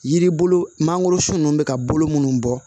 Yiri bolo mangorosun ninnu bɛ ka bolo minnu bɔ